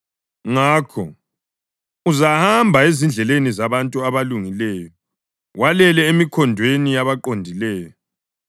Ngakho uzahamba ezindleleni zabantu abalungileyo walele emikhondweni yabaqondileyo.